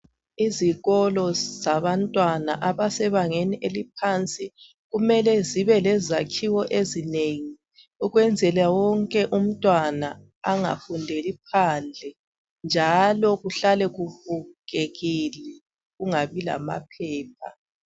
Izikolo zabantwana abasebangeni eliphansi kumele zibe lezakhiwo ezinengi ukwenzela wonke umntwana angafundeli phandle njalo kuhlale kubukeka kungabi lamaphepha.